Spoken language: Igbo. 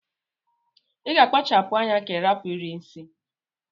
Iga akpachapu anya ka irapu iri nsi!!